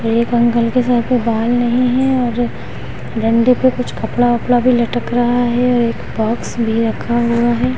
एक अंकल के सर पे बाल नहीं है और डंडे पे कुछ कपड़ा-वपड़ा भी लटक रहा है और एक बॉक्स भी रखा हुआ है।